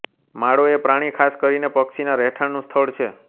માળો એ પ્રાણી ખાસ કરીને પક્ષીના રહેઠાણનું સ્થળ છે